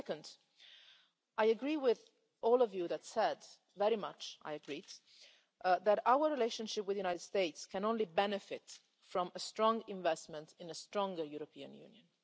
Secondly, I very much agree with all of you who said that our relationship with the United States can only benefit from a strong investment in a stronger European Union.